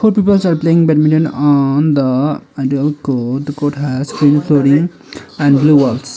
peoples are playing badminton on the court the court has green flooring and blue walls.